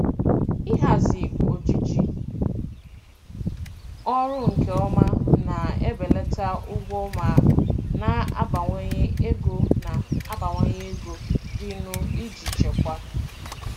Ịhazi ojiji ọrụ nke ọma na-ebelata ụgwọ ma na-abawanye ego na-abawanye ego dịnụ iji chekwaa.